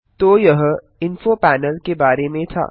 तो यह info panel के बारे में था